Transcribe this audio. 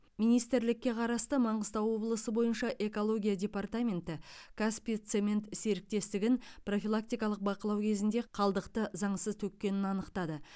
министрлікке қарасты маңғыстау облысы бойынша экология департаменті каспий цемент серіктестігін профилактикалық бақылау кезінде қалдықты заңсыз төккенін анықтады